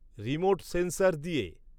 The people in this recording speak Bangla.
রিমোট সেন্সার দিয়ে